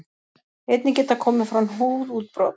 Einnig geta komið fram húðútbrot.